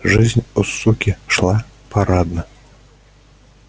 жизнь у суки шла парадно